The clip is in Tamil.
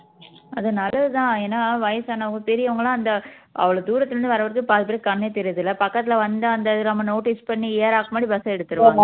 அது நல்லது தான் ஏன்னா வயசானவங்க பெரியவங்க எல்லாம் அந்த அவ்ளோ தூரத்துல இருந்து வர்ற வரைக்கும் பாதி பேருக்கு கண்ணே தெரியுறது இல்ல பக்கத்துல வந்தா அந்த இத நாம notice பண்ணி ஏறுறதுக்கு முன்னாடி bus எடுத்துடுவாங்க